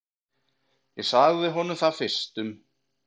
Ég sagði honum það fyrstum.